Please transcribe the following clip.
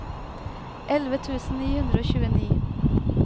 elleve tusen ni hundre og tjueni